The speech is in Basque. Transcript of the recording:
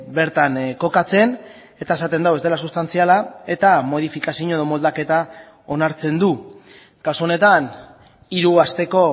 bertan kokatzen eta esaten du ez dela sustantziala eta modifikazio edo moldaketa onartzen du kasu honetan hiru asteko